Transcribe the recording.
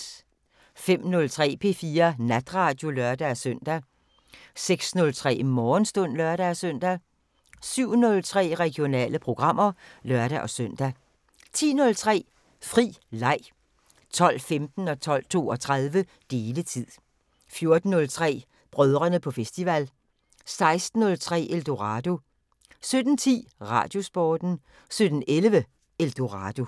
05:03: P4 Natradio (lør-søn) 06:03: Morgenstund (lør-søn) 07:03: Regionale programmer (lør-søn) 10:03: Fri leg 12:15: Deletid 12:32: Deletid 14:03: Brødrene på festival 16:03: Eldorado 17:10: Radiosporten 17:11: Eldorado